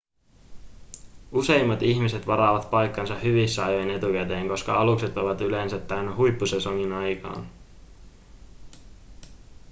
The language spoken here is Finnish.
useimmat ihmiset varaavat paikkansa hyvissä ajoin etukäteen koska alukset ovat yleensä täynnä huippusesongin aikaan